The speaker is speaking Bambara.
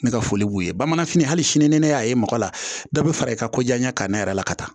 Ne ka foli b'u ye bamananfini hali sini ni ne y'a ye mɔgɔ la dɔ bɛ fara i ka ko diya ɲɛ ka ne yɛrɛ la ka taa